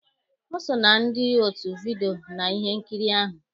O so na ndị otu vidiyo na ihe nkiri ahụ.